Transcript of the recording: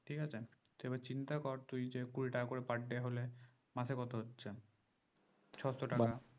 ঠিকাছে এবার চিন্তা কর তুই যে কুড়ি টাকা করে per day হলে মাসে কত যাচ্ছে ছশো টাকা